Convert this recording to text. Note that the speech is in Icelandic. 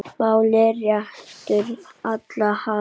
máli réttu hallar hann